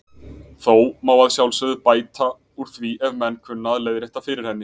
Þó má að sjálfsögðu bæta úr því ef menn kunna að leiðrétta fyrir henni.